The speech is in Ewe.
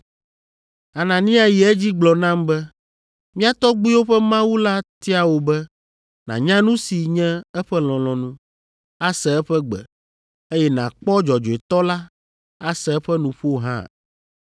“Anania yi edzi gblɔ nam be, ‘Mía tɔgbuiwo ƒe Mawu la tia wò be nànya nu si nye eƒe lɔlɔ̃nu, ase eƒe gbe, eye nàkpɔ Dzɔdzɔetɔ la, ase eƒe nuƒo hã.